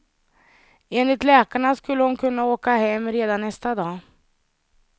Enligt läkarna skulle hon kunna åka hem redan nästa dag.